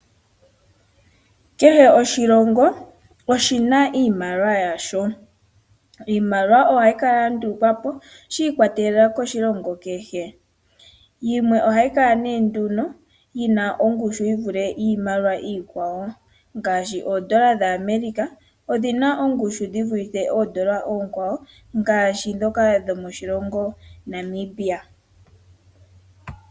Kehe oshilongo oshi na iimaliwa yasho. Iimaliwa ohayi kala ya ndulukwa po shikwatelela koshilongo kehe. Iimaliwa yimwe oyi na ongushu yi vule iikwawo, ngaashi oondola dhaAmerica odhi na ongushu dhi vule oondola oonkwawo ngaashi oondola dhomoNamibia.